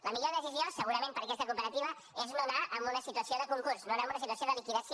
la millor decisió segurament per a aquesta cooperativa és no anar a una situació de concurs no anar a una situació de liquidació